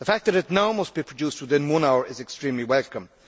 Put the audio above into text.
The fact that it must now be produced within one hour is extremely welcome.